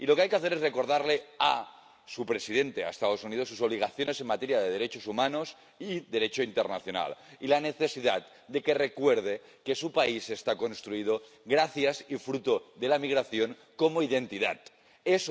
Y lo que hay que hacer es recordarle a su presidente, a Estados Unidos, sus obligaciones en materia de derechos humanos y Derecho internacional. Y la necesidad de que recuerde que su país está construido gracias a la migración como identidad y fruto de ella.